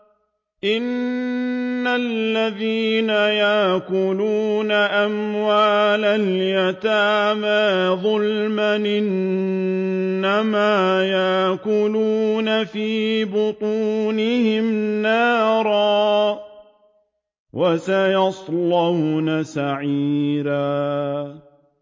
إِنَّ الَّذِينَ يَأْكُلُونَ أَمْوَالَ الْيَتَامَىٰ ظُلْمًا إِنَّمَا يَأْكُلُونَ فِي بُطُونِهِمْ نَارًا ۖ وَسَيَصْلَوْنَ سَعِيرًا